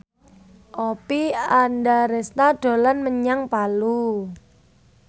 Oppie Andaresta dolan menyang Palu